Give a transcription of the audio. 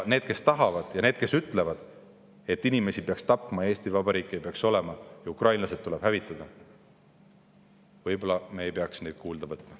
Neid, kes tahavad, ja neid, kes ütlevad, et inimesi peaks tapma, Eesti Vabariiki ei peaks olemas olema ja ukrainlased tuleb hävitada, me ei peaks kuulda võtma.